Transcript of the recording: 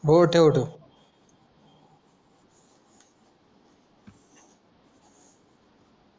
हो ठेव ठेव